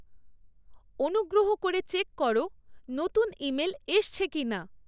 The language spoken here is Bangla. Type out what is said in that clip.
অনুগ্র্রহ করে চেক করো নতুন ইমেল এসছে কি না